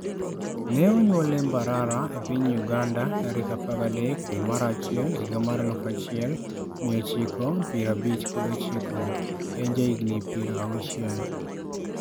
Ne onyuole Mbarara e piny Uganda, tarik 13 dwe mar achiel higa mar 1959. (En jahigini 60).